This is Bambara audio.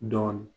Dɔɔnin